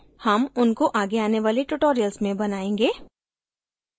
हम उनको आगे आने वाले tutorials में बनाएंगे